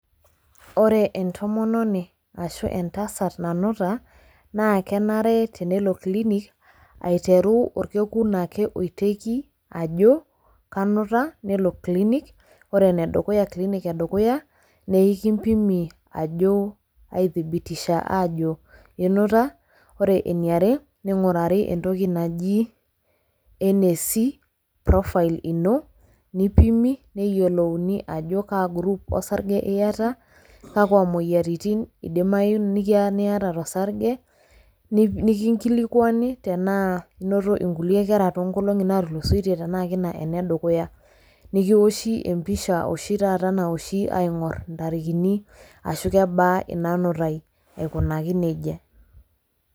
Ore entomononi ashu entasat nanuta naa kenare tenelo clinic aiteru orkekun ake oiteiki ajo kanuta nelo clinic ore clinic edukuya naa ikimpimi ajo aiakikishia ajo inuta ore eniare ning'urari entoki naji NAC, profile ino nipimi neyiolouni ajo kaa group osarge iata kakwa moyiaritin idimayu niata tosarge nikinkilikuani tenaa inoto nkulie kerra toonkolong'i naatulusoitie tenaa kina ene dukuya nikiwoshi empisha oshi taata nawoshi aingorr intarikini ashu kebaa ina nutai, aikunaki neija.